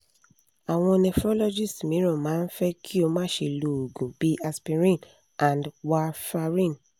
awon nephrologists miran ma n fe ki o ma se lo oogun bi aspirin and warfarin